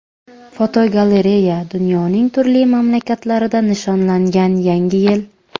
Fotogalereya: Dunyoning turli mamlakatlarida nishonlangan Yangi yil.